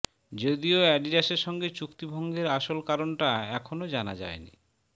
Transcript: যদিও অ্যাডিডাসের সঙ্গে চুক্তিভঙ্গের আসল কারণটা এখনও জানা যায়নি